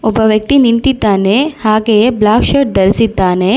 ಒಬ್ಬ ವ್ಯಕ್ತಿ ನಿಂತಿದ್ದಾನೆ ಹಾಗೆ ಬ್ಲಾಕ್ ಶರ್ಟ್ ಧರಿಸಿದ್ದಾನೆ.